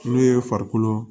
N'o ye farikolo